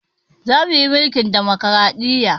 Za mu yi mulkin ɗamokraɗiya